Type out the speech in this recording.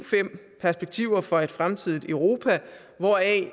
fem perspektiver for et fremtidigt europa hvoraf